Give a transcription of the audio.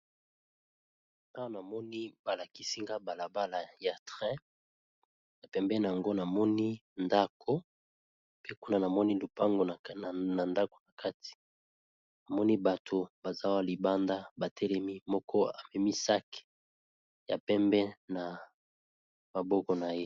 Awa balakisi ngai balabala ya train pembeni nayango namoni ndako, kuna namoni lupango na ndako nakati namoni bato baza libanda batelemi moko amemi sac ya pembe na maboko naye.